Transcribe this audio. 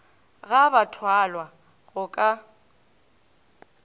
ga ba thwalwa go ka